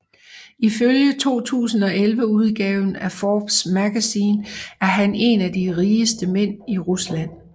Ifølge 2011 udgaven af Forbes Magazine er han en af de rigeste mænd i Rusland